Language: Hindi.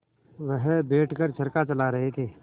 वह बैठ कर चरखा चला रहे थे